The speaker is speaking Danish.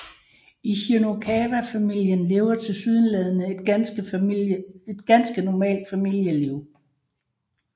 Ichinokawa familien lever tilsyneladende et ganske normalt familieliv